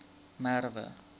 merwe